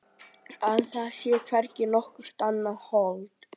Að það sé hvergi nokkurt annað hold.